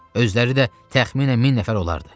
Özləri də təxminən min nəfər olardı.